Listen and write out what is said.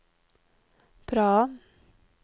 Praha